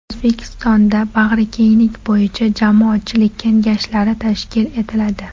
O‘zbekistonda bag‘rikenglik bo‘yicha jamoatchilik kengashlari tashkil etiladi.